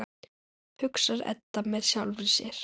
hugsar Edda með sjálfri sér.